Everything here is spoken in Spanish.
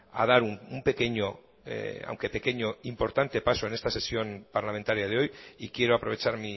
a dar un pequeño aunque pequeño importante paso en esta sesión parlamentaria de hoy y quiero aprovechar